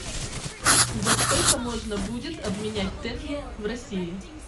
за сколько можно будет обменять тенге в россии